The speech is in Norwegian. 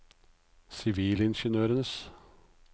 sivilingeniørers